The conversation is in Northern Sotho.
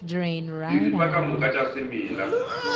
diripa ka moka tša semela